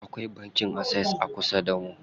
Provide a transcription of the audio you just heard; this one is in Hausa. Akwai banki Access a kusa damu.